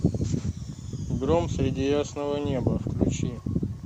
гром среди ясного неба включи